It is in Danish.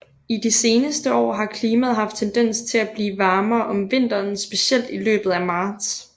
I de seneste år har klimaet haft tendens til at blive varmere om vinteren specielt i løbet af marts